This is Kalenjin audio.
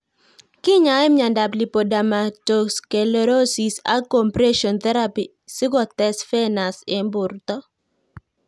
Kinyae miondop Lipodermatosclerosis ak compression therapy si kotes venous eng' porto